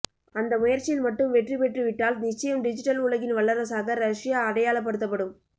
அந்த முயற்சியில் மட்டும் வெற்றி பெற்று விட்டால் நிச்சயம் டிஜிட்டல் உலகின் வல்லரசாக ரஷ்யா அடையாளப்படுத்தப்படும்